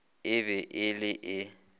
e be e le e